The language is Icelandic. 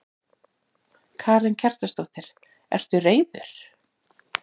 Karen Kjartansdóttir: Ertu reiður?